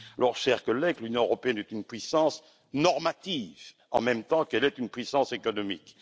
Alors, chers collègues, l'Union européenne est une puissance normative en même temps qu'elle est une puissance économique.